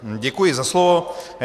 Děkuji za slovo.